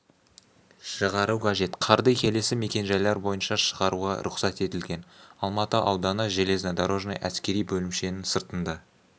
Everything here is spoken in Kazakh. шығару қажет қарды келесі мекен-жайлар бойынша шығаруға рұқсат етілген алматы ауданы железнодорожный әскери бөлімшенің сыртында